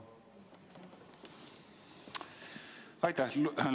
Aitäh!